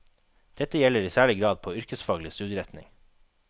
Dette gjelder i særlig grad på yrkesfaglig studieretning.